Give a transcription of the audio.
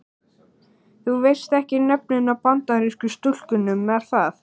Þú veist ekki nöfnin á Bandarísku stúlkunum er það?